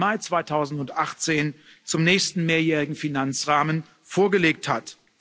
2. Mai 2018 zum nächsten mehrjährigen Finanzrahmen vorgelegt hat.